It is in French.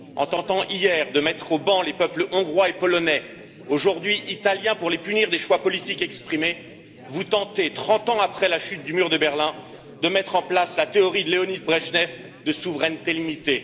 En tentant, hier, de mettre au ban les peuples hongrois et polonais, aujourd'hui italien, pour les punir des choix politiques exprimés, vous tentez, trente ans après la chute du mur de Berlin, de mettre en place la théorie de Léonid Brejnev de souveraineté limitée.